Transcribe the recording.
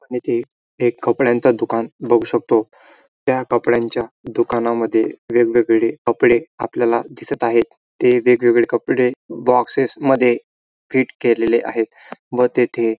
इथे एक कंपड्यांच दुकान बघू शकतो त्या कपड्यांच्या दुकाना मध्ये वेगवेगळे कपडे आपल्याला दिसत आहेत ते वेगवेगळे कपडे बोक्सेस मध्ये फिट केलेले आहेत व तेथे--